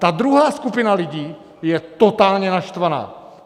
Ta druhá skupina lidí je totálně naštvaná.